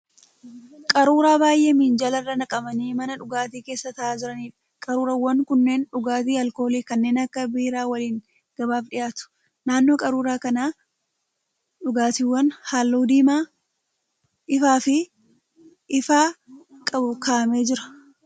Qaruuraa baay'ee minjaala irra naqamanii mana dhugaatii keessa ta'aa jiraniidha. Qaruuraawwan kunneen dhugaatii alkoolii kanneen akka biiraa waliin gabaaf dhiyaatu. Naannoo qaruuraa kanaa dhugaatiin halluu diimaa ifaa qabu ka'amee jira.